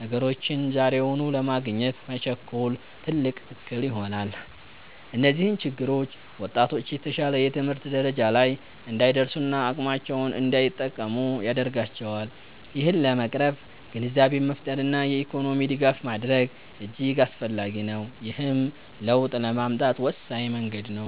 ነገሮችን ዛሬውኑ ለማግኘት መቸኮል፣ ትልቅ እክል ይሆናል። እነዚህ ችግሮች ወጣቶች የተሻለ የትምህርት ደረጃ ላይ እንዳይደርሱና አቅማቸውን እንዳይጠቀሙ ያደርጋቸዋል። ይህንን ለመቅረፍ ግንዛቤን መፍጠርና የኢኮኖሚ ድጋፍ ማድረግ እጅግ አስፈላጊ ነው፤ ይህም ለውጥ ለማምጣት ወሳኝ መንገድ ነው።